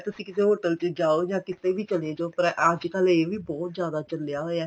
ਤੁਸੀਂ ਕਿਸੇ hotel ਚ ਜਾਓ ਜਾ ਕਿੱਥੇ ਵੀ ਚਲੇ ਜਾਓ ਪਰ ਅੱਜਕਲ ਇਹ ਵੀ ਬਹੁਤ ਜਿਆਦਾ ਚੱਲਿਆ ਹੋਇਆ ਹੈ